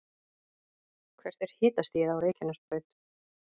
hvert er hitastigið á reykjanesbraut